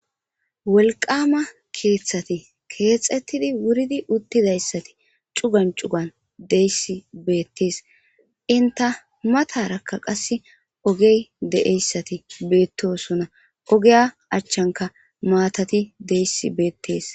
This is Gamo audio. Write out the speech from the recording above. Wolqqama keththati kexxetidi wuuriddi uttidayssati cuugan cuugan diyayssi bettes eentta maatarakka qaasse oggey deiiyayssati qasse bettossona oggiya achchanikka maatati deiiyayssi bettes.